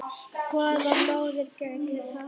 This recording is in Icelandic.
Hvaða móðir gæti það?